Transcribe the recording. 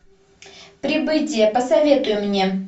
прибытие посоветуй мне